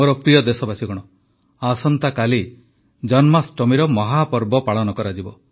ମୋର ପ୍ରିୟ ଦେଶବାସୀଗଣ ଆସନ୍ତାକାଲି ଜନ୍ମାଷ୍ଟମୀର ମହାପର୍ବ ପାଳନ କରାଯିବ